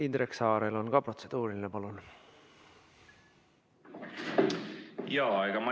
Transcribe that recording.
Indrek Saarel on ka protseduuriline küsimus.